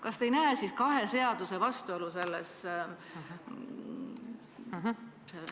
Kas te ei näe siin kahe seaduse vastuolu?